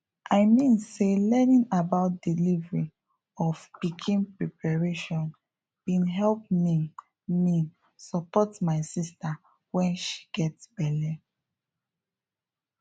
i mean say learning about delivery of pikin preparation bin help me me support my sister when she get belle